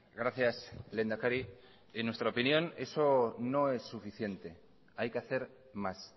gracias lehendakari en nuestra opinión eso no es suficiente hay que hacer más